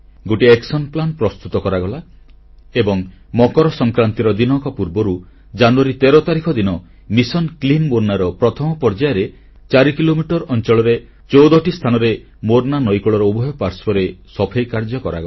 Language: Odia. ଗୋଟିଏ କାର୍ଯ୍ୟାନ୍ବୟନ ଯୋଜନା ପ୍ରସ୍ତୁତ କରାଗଲା ଏବଂ ମକର ସଂକ୍ରାନ୍ତିର ଦିନକ ପୂର୍ବରୁ ଜାନୁୟାରୀ 13 ତାରିଖ ଦିନ ମିଶନ କ୍ଲିନ୍ ମୋର୍ନା ର ପ୍ରଥମ ପର୍ଯ୍ୟାୟରେ 4 କିଲୋମିଟର ଅଂଚଳରେ14ଟି ସ୍ଥାନରେ ମୋର୍ନା ନଈକୂଳର ଉଭୟ ପାର୍ଶ୍ବରେ ସଫେଇ କାର୍ଯ୍ୟ କରାଗଲା